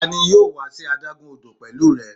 Tani yoo wa si adagun odo pẹlu rẹ?